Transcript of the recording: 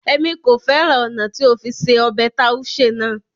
Émi ko fẹran ọna ti o fi se ọbẹ taushe naa